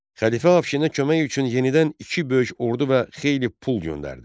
Xəlifə Afşinə kömək üçün yenidən iki böyük ordu və xeyli pul göndərdi.